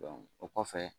o kɔfɛ